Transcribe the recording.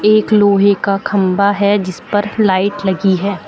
एक लोहे का खंबा है जिस पर लाइट लगी है।